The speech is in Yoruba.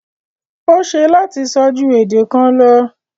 O ṣẹ lati sọ̀ ju èdè kàn lọ